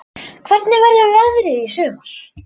Hvernig verður veðrið í sumar?